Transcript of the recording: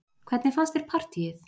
Hvernig fannst þér partíið?